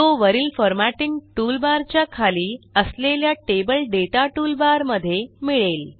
तो वरील formatting toolbar च्या खाली असलेल्या टेबल दाता टूलबार मध्ये मिळेल